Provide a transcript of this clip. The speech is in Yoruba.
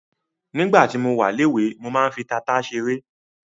Nígbà tí mo wà léwe ,mo máa ń fi tata ṣeré.